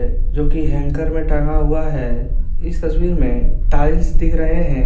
जो कि हैंगर में टांगा हुआ है इस तस्वीर में टाइल्स दिख रहे हैं।